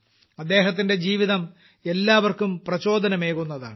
അദ്ദേഹത്തിന്റെ ജീവിതം എല്ലാവർക്കും പ്രചോദനമേകുന്നതാണ്